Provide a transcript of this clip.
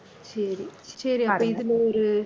சரி சரி அப்ப இதுல ஒரு